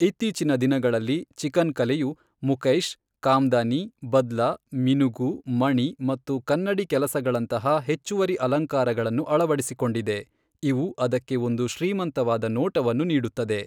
ಇತ್ತೀಚಿನ ದಿನಗಳಲ್ಲಿ ಚಿಕನ್ ಕಲೆಯು ಮುಕೈಶ್, ಕಾಮ್ದಾನಿ, ಬದ್ಲಾ, ಮಿನುಗು, ಮಣಿ ಮತ್ತು ಕನ್ನಡಿ ಕೆಲಸಗಳಂತಹ ಹೆಚ್ಚುವರಿ ಅಲಂಕಾರಗಳನ್ನು ಅಳವಡಿಸಿಕೊಂಡಿದೆ, ಇವು ಅದಕ್ಕೆ ಒಂದು ಶ್ರೀಮಂತವಾದ ನೋಟವನ್ನು ನೀಡುತ್ತದೆ.